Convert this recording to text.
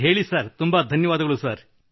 ಹೇಳಿ ಸರ್ ತುಂಬಾ ಧನ್ಯವಾದಗಳು ಸರ್